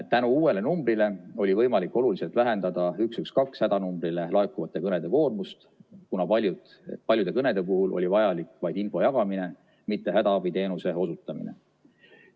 Tänu uuele numbrile oli võimalik oluliselt vähendada 112 hädanumbrile laekuvate kõnede koormust, kuna paljude kõnede puhul oli vajalik vaid info jagamine, mitte hädaabiteenuse osutamine.